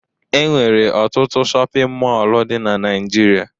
Enwere ọtụtụ shọpịn mọlụ dị na Naịjirịa.